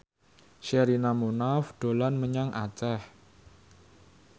Sherina Munaf dolan menyang Aceh